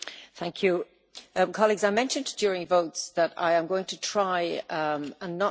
Colleagues, I mentioned during the votes that I am going to try not to use the gavel.